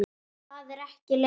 Það er ekki leigan.